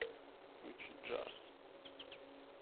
включи джарс